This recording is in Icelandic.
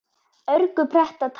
örgu pretta táli.